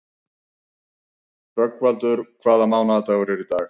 Rögnvaldur, hvaða mánaðardagur er í dag?